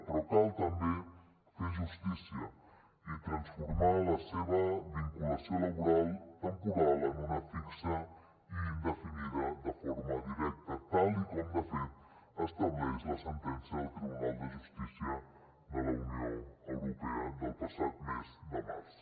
però cal també fer justícia i transformar la seva vinculació laboral temporal en una fixa i indefinida de forma directa tal com de fet estableix la sentència del tribunal de justícia de la unió europea del passat mes de març